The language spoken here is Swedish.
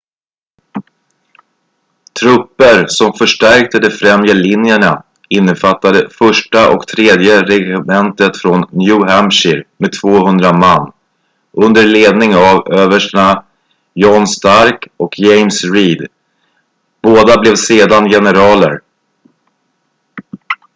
trupper som förstärkte de främre linjerna innefattade 1:a och 3:e regementet från new hampshire med 200 man under ledning av överstarna john stark och james reed båda blev sedan generaler